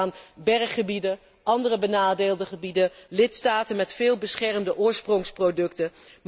Ik denk aan berggebieden, andere benadeelde gebieden, lidstaten met veel beschermde oorsprongsproducten.